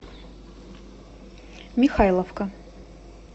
михайловка